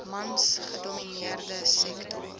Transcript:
mans gedomineerde sektor